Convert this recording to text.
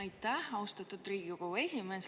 Aitäh, austatud Riigikogu esimees!